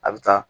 A bɛ taa